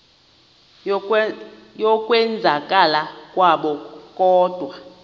yokwenzakala kwabo kodwa